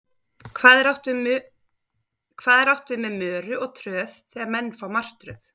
Hvað er átt við með möru og tröð þegar menn fá martröð?